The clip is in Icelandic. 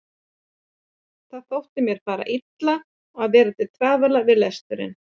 Það þótti mér fara illa og vera til trafala við lesturinn.